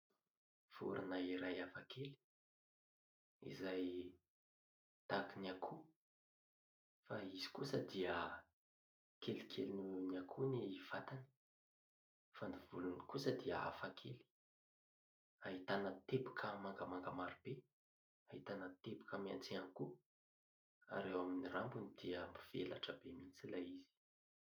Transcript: Vorona iray hafakely izay tahaka ny akoho fa izy kosa dia kelikely noho ny akoho ny vatany fa ny volony kosa dia hafakely, ahitana teboka mangamanga maro be, ahitana teboka maitso ihany koa, eo amin'ny rambony dia mivelatra be mihitsy ilay izy.